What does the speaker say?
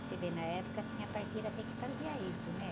Você vê, na época tinha parteira até que fazia isso, né?